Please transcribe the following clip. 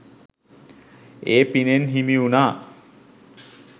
ඒ පිනෙන් හිමි වුණා.